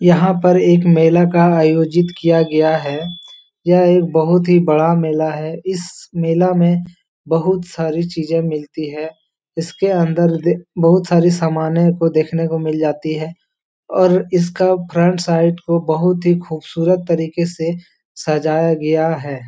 यहाँ पर एक मेला का आयोजित किया गया है यह एक बहोत ही बड़ा मेला है इस मेला में बहोत सारी चीज़ें मिलती है इसके अंदर द बहोत सारे सामाने आपको देखने को मिल जाती है और इसका फ्रंट साइड को बहोत ही खूबसूरत तरीके से सजाया गया है।